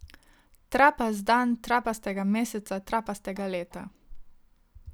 Trapast dan trapastega meseca trapastega leta.